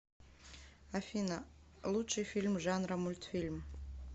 афина лучший фильм жанра мультфильм